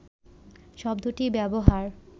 শব্দটি ব্যবহার